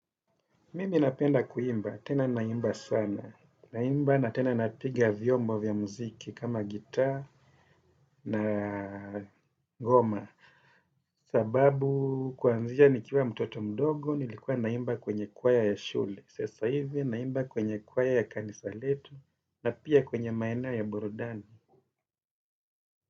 Mimi napenda kuimba, tena naimba sana, naimba na tena napiga vyombo vya muziki kama gita na ngoma sababu kuanzia nikiwa mtoto mdogo nilikuwa naimba kwenye kwaya ya shule sasa hivi naimba kwenye kwaya ya kanisa letu na pia kwenye maeneo ya burudani.